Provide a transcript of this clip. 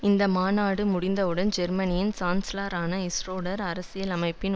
இந்த மாநாடு முடிந்தவுடன் ஜெர்மனியின் சான்ஸ்லரான ஷ்ரோடர் அரசியலமைப்பின்